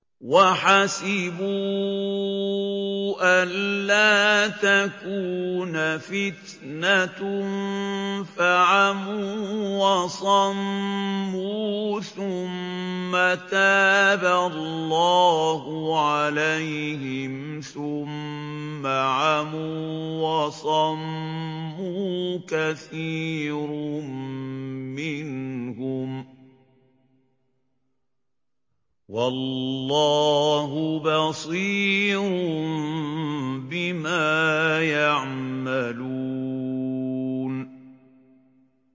وَحَسِبُوا أَلَّا تَكُونَ فِتْنَةٌ فَعَمُوا وَصَمُّوا ثُمَّ تَابَ اللَّهُ عَلَيْهِمْ ثُمَّ عَمُوا وَصَمُّوا كَثِيرٌ مِّنْهُمْ ۚ وَاللَّهُ بَصِيرٌ بِمَا يَعْمَلُونَ